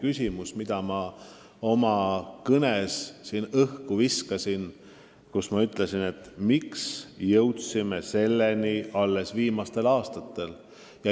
Viskasin oma kõnes õhku retoorilise küsimuse, miks me jõudsime selleni alles viimastel aastatel.